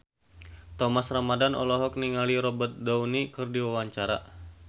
Thomas Ramdhan olohok ningali Robert Downey keur diwawancara